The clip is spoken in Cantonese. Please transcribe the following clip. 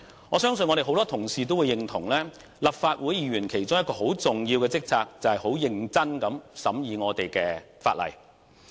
我相信多位同事也認同，立法會議員其中一項重要職責，就是認真地審議法例。